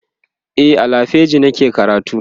a lafiagi nake karatu